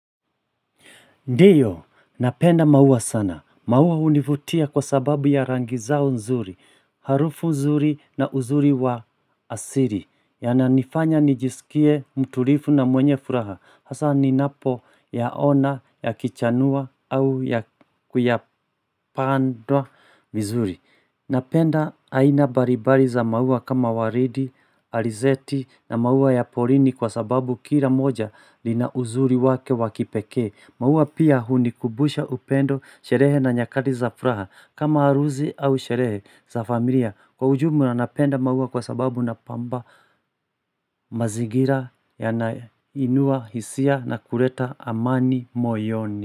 Ndiyo, napenda maua sana, maua univutia kwa sababu ya rangi zao nzuri, harufu nzuri na uzuri wa asili Yananifanya nijisikie mtulifu na mwenye furaha, hasa ninapo ya ona ya kichanua au ya kuyapandwa mzuri Napenda haina mbali mbali za maua kama waridi, alizeti na maua ya porini kwa sababu kira moja li na uzuri wake wakipeke Mauwa pia hunikubusha upendo sherehe na nyakati za furaha kama haruzi au sherehe za familia kwa ujumu na napenda maua kwa sababu na pamba mazigira ya na inua hisia na kuleta amani moyoni.